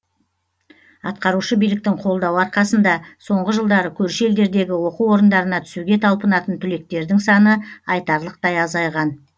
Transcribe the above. атқарушы биіліктің қолдауы арқасында соңғы жылдары көрші елдердегі оқу орындарына түсуге талпынатын түлектердің саны айтарлықтай азайған